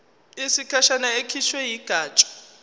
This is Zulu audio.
yesikhashana ekhishwe yigatsha